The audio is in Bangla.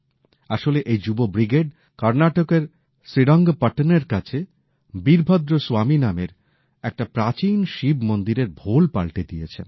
আসলে এই যুব ব্রিগেড কর্ণাটকের শ্রীরঙ্গপট্টনের কাছে বীরভদ্র স্বামী নামের একটা প্রাচীন শিব মন্দিরের ভোল পাল্টে দিয়েছেন